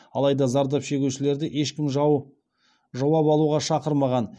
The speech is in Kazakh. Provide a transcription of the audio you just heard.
алайда зардап шегушілерді ешкім жауап алуға шақырмаған